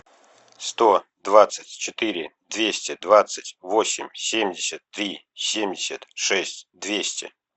сто двадцать четыре двести двадцать восемь семьдесят три семьдесят шесть двести